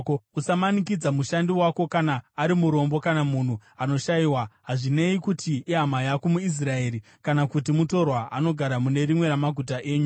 Usamanikidza mushandi wako kana ari murombo kana munhu anoshayiwa, hazvinei kuti ihama yako muIsraeri kana kuti mutorwa anogara mune rimwe ramaguta enyu.